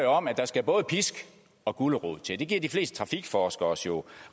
om at der skal både pisk og gulerod til det giver de fleste trafikforskere os jo